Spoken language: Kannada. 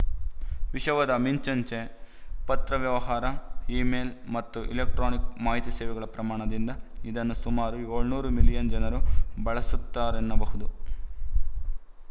ವಿಶವದ ಮಿಂಚಂಚೆಪತ್ರ ವ್ಯವಹಾರ ಇ ಮೇಲ್‌ ಮತ್ತು ಎಲೆಕ್ಟ್ರಾನಿಕ್ ಮಾಹಿತಿ ಸೇವೆಗಳ ಪ್ರಮಾಣದಿಂದ ಇದನ್ನು ಸುಮಾರು ಏಳುನೂರು ಮಿಲಿಯನ್‌ ಜನರು ಬಳಸುತ್ತಾರೆನ್ನಬಹುದು